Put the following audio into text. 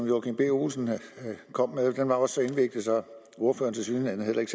joachim b olsen kom med det var også at ordføreren tilsyneladende heller ikke